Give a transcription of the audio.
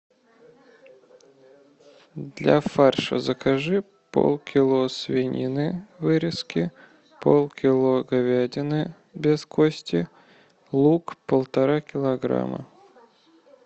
для фарша закажи полкило свинины вырезки полкило говядины без кости лук полтора килограмма